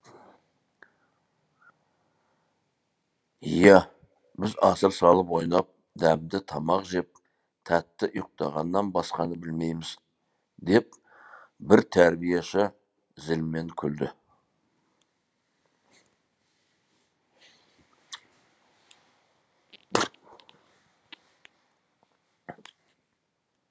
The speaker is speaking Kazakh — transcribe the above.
иә біз асыр салып ойнап дәмді тамақ жеп тәтті ұйықтағаннан басқаны білмейміз деп бір тәрбиеші зілмен күлді